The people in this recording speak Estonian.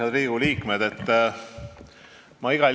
Head Riigikogu liikmed!